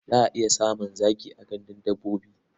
Za a iya samun zaki a gandun dabbobi.